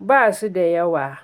basu da yawa.